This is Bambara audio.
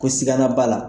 Ko sigana b'a la